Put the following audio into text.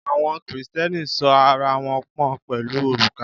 Àwọn Kristẹni sọ ara wọn pọ̀n pẹ̀lú òrùka.